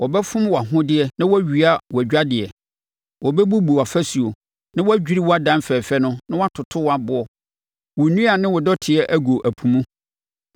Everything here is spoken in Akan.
Wɔbɛfom wʼahodeɛ na wɔawia wʼadwadeɛ, wɔbɛbubu wʼafasuo, na wɔadwiri wʼadan fɛfɛ no na wɔatoto wʼaboɔ, wo nnua ne wo dɔteɛ agu ɛpo mu.